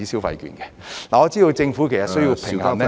我知道政府其實需要平衡......